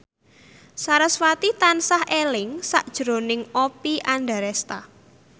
sarasvati tansah eling sakjroning Oppie Andaresta